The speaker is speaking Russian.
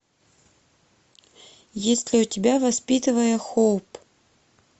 есть ли у тебя воспитывая хоуп